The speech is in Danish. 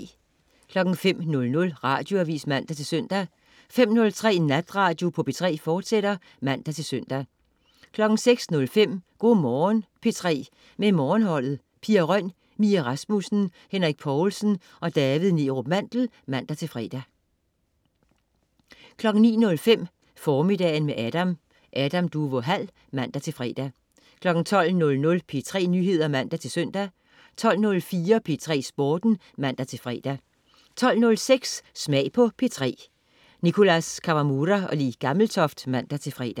05.00 Radioavis (man-søn) 05.03 Natradio på P3, fortsat (man-søn) 06.05 Go' Morgen P3 med Morgenholdet. Pia Røn, Mie Rasmussen, Henrik Povlsen og David Neerup Mandel (man-fre) 09.05 Formiddagen med Adam. Adam Duvå Hall (man-fre) 12.00 P3 Nyheder (man-søn) 12.04 P3 Sporten (man-fre) 12.06 Smag på P3. Nicholas Kawamura/Le Gammeltoft (man-fre)